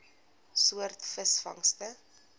soort visvangste